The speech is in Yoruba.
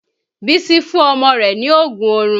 Bísí fún ọmọ rẹ̀ ní oògùn oorun